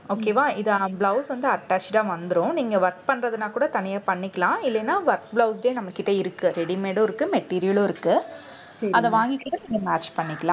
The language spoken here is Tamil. okay வா இதான் blouse வந்து attached ஆ வந்துரும். நீங்க work பண்றதுன்னா கூட தனியா பண்ணிக்கலாம் இல்லைன்னா work blouse ஏ நம்மகிட்ட இருக்கு. readymade ம் இருக்கு material ம் இருக்கு அதை வாங்கி கூட நீங்க match பண்ணிக்கலாம்.